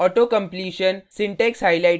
auto completion syntax highlighting